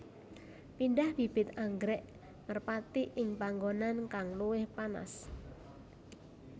Pindah bibit anggrèk merpati ing panggonan kang luwih panas